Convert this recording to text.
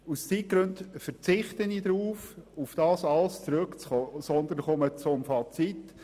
Ich verzichte aus Zeitgründen darauf, auf alle Argumentationen einzugehen, und komme zum Fazit.